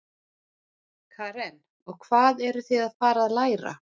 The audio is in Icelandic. Karen: Og hvað eruð þið að fara að læra?